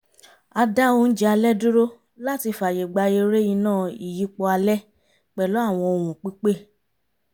a dá oúnjẹ alẹ́ dúró làti fàyè gba eré iná ìyípo alẹ́ pẹ̀lú àwọn ohùn-pípè